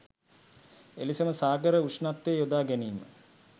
එලෙසම සාගර උෂ්ණත්වය යොදා ගැනීම